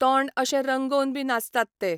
तोंड अशें रंगोवन बी नाचतात ते.